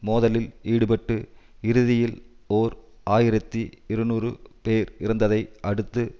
மோதலில் ஈடுபட்டு இறுதியில் ஓர் ஆயிரத்தி இருநூறு பேர் இறந்ததை அடுத்து